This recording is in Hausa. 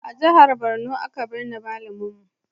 A jihar Benue aka birne mama'n mu.